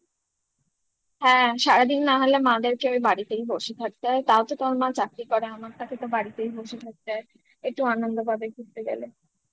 হ্যাঁ সারাদিন না হলে মা দেরকে ওই বাড়িতেই বসে থাকতে হয় তাও তো তোমার মা চাকরি করে আমার থাকে তো বাড়িতেই বসে থাকতে হয় একটু আনন্দ পাবে ঘুরতে গেলে